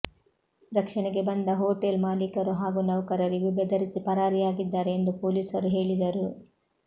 ರಕ್ಷಣೆಗೆ ಬಂದ ಹೋಟೆಲ್ ಮಾಲೀಕರು ಹಾಗೂ ನೌಕರರಿಗೂ ಬೆದರಿಸಿ ಪರಾರಿಯಾಗಿದ್ದಾರೆ ಎಂದು ಪೊಲೀಸರು ಹೇಳಿದರು